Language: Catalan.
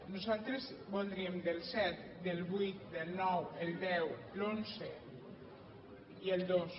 nosaltres voldríem del set del vuit del nou el deu l’onze i el dos